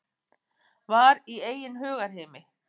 Var í eigin hugarheimi.